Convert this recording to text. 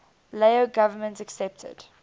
lao government accepted